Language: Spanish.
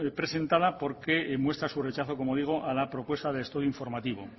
presentada porque muestra su rechazo como digo a la propuesta de estudio informativo